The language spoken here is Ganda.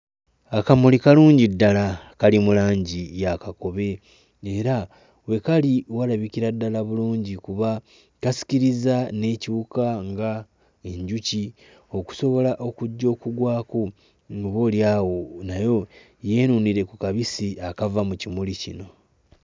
Akamuli kalungi ddala kali mu langi ya kakobe era we kali walabikira ddala bulungi kuba kasikirizza n'ekiwuka nga enjuki okusobola okujja okugwako ng'oboolyawo nayo yeenuunire ku kabisi akava mu kimuli kino.